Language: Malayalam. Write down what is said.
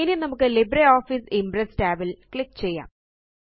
ഇനി നമുക്ക് ലിബ്രിയോഫീസ് ഇംപ്രസ് tab ല് ക്ലിക്ക് ചെയ്യാം